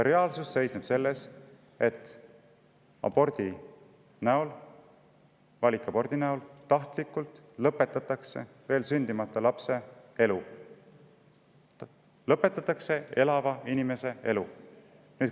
Reaalsus seisneb selles, et aborti, valikaborti lõpetatakse tahtlikult veel sündimata lapse elu, lõpetatakse elava inimese elu.